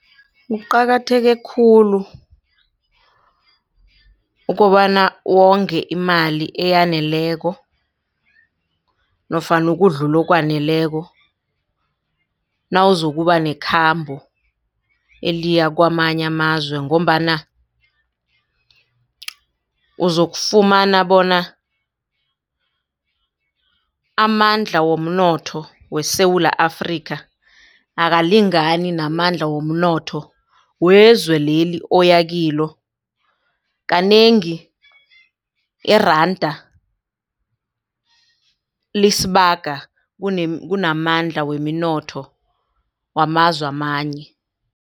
Kuqakatheke khulu ukobana wonge imali eyaneleko nofana ukudlula okwaneleko nawuzokuba nekhambo eliya kwamanye amazwe ngombana uzokufumana bona amandla womnotho weSewula Afrika akalingani namandla womnotho wezwe leli oya kilo kanengi iranda lisibaga kunamandla weminotho wamazwe amanye.